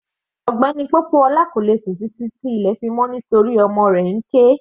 Mr Popoola kò lè sùn títí tí ilẹ̀ fi mọ́ nítorí ọmọ rẹ̀ ń ké.